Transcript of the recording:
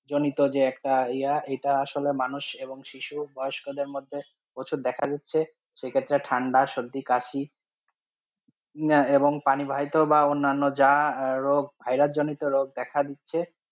জনিত যে একটা ই~এটা আসলে মানুষ এবং শিশু, বয়স্ক দেড় মধ্যে প্রচুর দেখাচ্ছে দিচ্ছে, সেক্ষেত্রে ঠান্ডা সর্দি কাশি এবং পানি বাহিত বা অন্যান যা ভাইরাস রোগ বা জনিত রোগ দেখা দিচ্ছে।